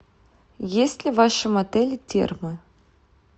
есть ли в вашем отеле термы